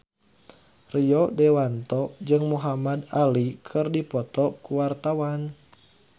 Rio Dewanto jeung Muhamad Ali keur dipoto ku wartawan